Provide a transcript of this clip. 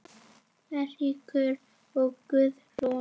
Eiríkur og Guðrún.